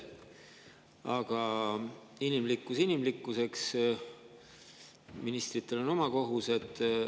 Aga inimlikkus inimlikkuseks, ministritel on oma kohused.